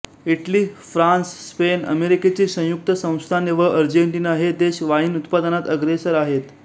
Italy France Spain अमेरिकेची संयुक्त संस्थाने व आर्जेन्टिना हे देश वाईन उत्पादनात अग्रेसर आहेत